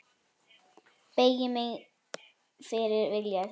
Beygi mig fyrir vilja þínum.